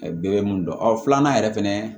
bɛɛ bɛ mun dɔn ɔ filanan yɛrɛ fɛnɛ